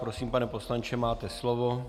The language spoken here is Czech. Prosím, pane poslanče, máte slovo.